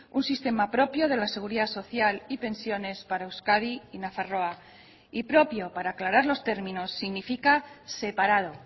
un sistema propio de la seguridad social y pensiones para euskadi y nafarroa y propio para aclarar los términos significa separado